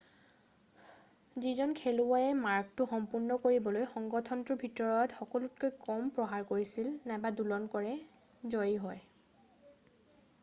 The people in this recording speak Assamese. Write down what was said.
যিজন খেলুৱৈ মাৰ্গটো সম্পূৰ্ণ কৰিবলৈ সংগঠনটোৰ ভিতৰত সকলোতকৈ কম প্ৰহাৰ কৰে নাইবা দোলন কৰে জয়ী হয়